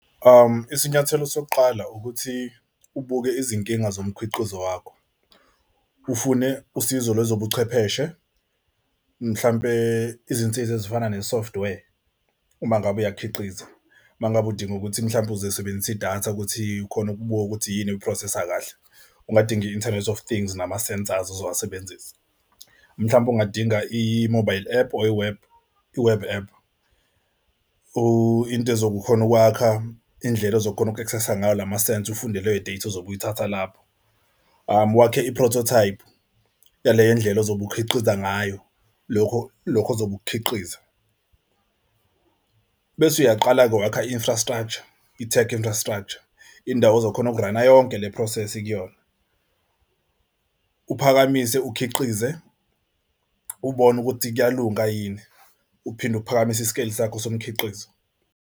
Isinyathelo sokuqala ukuthi ubuke izinkinga zomkhiqizo wakho, ufune usizo lwezobuchwepheshe mhlampe izinsiza ezifana ne-software uma ngabe uyakhiqiza. Uma ngabe udinga ukuthi mhlawumbe uzoyisebenzisa idatha ukuthi khona ukubuka ukuthi yini oyi-process-a kahle ungadinga i-inthanethi of thing's nama sensors ozowasebenzisa mhlawumbe ungadinga i-mobile app or i-web i-web app. Into ezokhona ukwakha indlela ozokhona uku-access-a ngayo lamasensa ufunde leyo data ozobe uyithatha lapho. Wakhe i-prototype yaleyo ndlela ozobe ukhiqiza ngayo lokho lokho ozobe ukukhiqiza. Bese uyaqala-ke wakha i-infrastructure, i-tech infrastructure. Indawo ozokhona ukurana yonke le process kuyona, uphakamise ukhiqize ubone ukuthi kuyalunga yini, uphinde ukuphakamise i-scale sakho somkhiqizo.